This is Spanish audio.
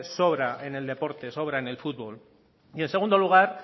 sobra en el deporte sobra en el fútbol y en segundo lugar